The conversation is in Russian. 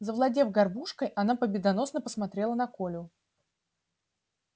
завладев горбушкой она победоносно посмотрела на колю